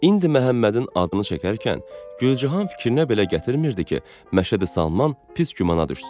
İndi Məhəmmədin adını çəkərkən Gülcahan fikrinə belə gətirmirdi ki, Məşədi Salman pis gümana düşsün.